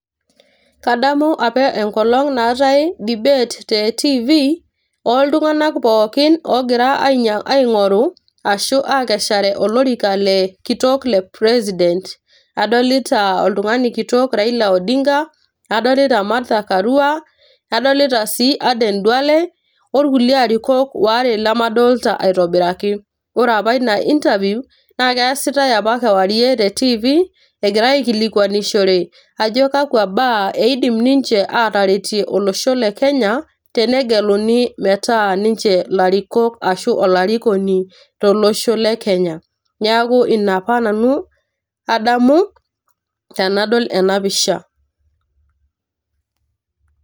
Kadamu apa enkolong naatae debate te tv oo iltunganak pookin ogira aingoru ashu akeshare olorika le kitok le president. adolita oltungani kitok Raila odinga, adolita Martha Karua ,adolita sii Aden Duale orkulie arikok ware lemadolta aitobiraki. ore apa ina interview naa keasitae apa kewarie te tv egirae aikilikwanishore ajo kakwa baa eidim ninche ataretie olosho le Kenya tenegeluni metaa ninche ilarikok arashu olarikoni tolosho le Kenya. niaku ina apa nanu adamu tenadol ena pisha.